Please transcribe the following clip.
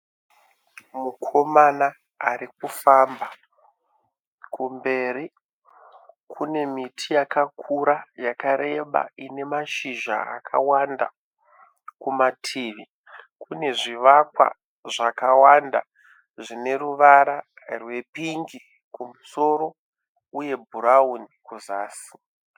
Mukomana ari kufamba, kumberi kune miti yakakura yakareba ine mazhizha akawanda. Kumativi kune zvivakwa zvakawanda zvine ruvara rwepingi kumusoro uye bhurauni kuzasi.